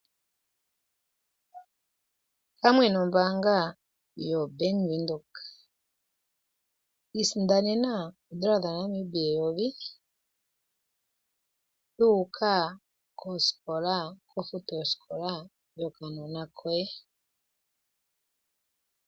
Pamwe nombaanga yo Bank Windhoek isindanena oodola dhaNamibia eyovi dhuuka kofuto yosikola yokaana koye.